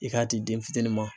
I k'a di den fitinin ma.